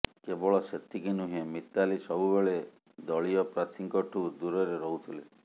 କେବଳ ସେତିକି ନୁହେଁ ମିତାଲି ସବୁବେଳେ ଦଳୀୟ ସାଥୀଙ୍କଠୁ ଦୂରରେ ରହୁଥିଲେ